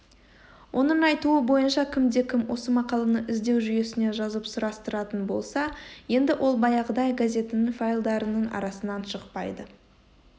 оның айтуы бойынша кімде-кім осы мақаланы іздеу жүйесіне жазып сұрастыратын болса енді ол баяғыдай газетінің файлдарының арасынан шықпайды